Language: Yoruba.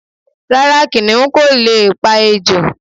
Rárá, kìniún ko leè pa ejò